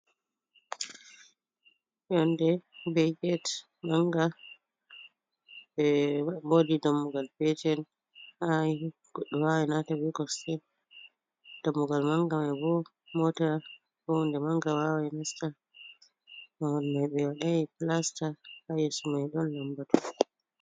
Yonnde be get mannga, eeh woodi dammugal peetel haay goɗɗo waawan naata be kosɗe, nda dammugal mannga may bo moota, koo huunde mannga waaway nasta, babal may ɓe waɗay pilasta, haa yeeso may ɗon lammbatu.